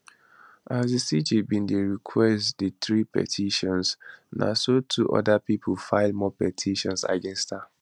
as di cj bin dey request di three petitions na so two oda pipo file more petitions against her